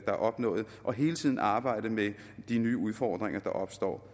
er opnået og hele tiden arbejde med de nye udfordringer der opstår